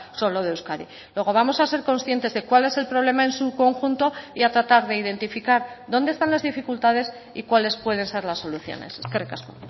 solo de euskadi luego vamos a ser conscientes de cuál es el problema en su conjunto y a tratar de identificar dónde están las dificultades y cuáles pueden ser las soluciones eskerrik asko